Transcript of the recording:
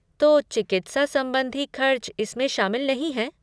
तो चिकित्सा संबंधी खर्च इसमें शामिल नहीं है?